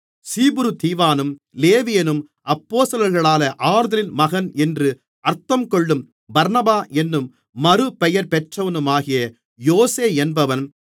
சீப்புருதீவானும் லேவியனும் அப்போஸ்தலர்களாலே ஆறுதலின் மகன் என்று அர்த்தங்கொள்ளும் பர்னபா என்னும் மறுபெயர்பெற்றவனுமாகிய யோசே என்பவன்